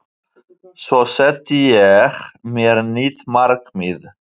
Svo setti ég mér nýtt markmið